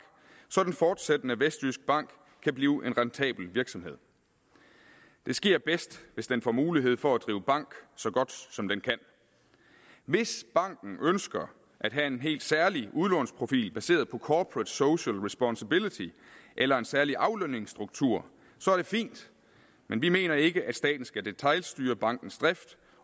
så den fortsættende vestjyskbank kan blive en rentabel virksomhed det sker bedst hvis den får mulighed for at drive bank så godt som den kan hvis banken ønsker at have en helt særlig udlånsprofil baseret på corporate social responsibility eller en særlig aflønningsstruktur er det fint men vi mener ikke at staten skal detailstyre bankens drift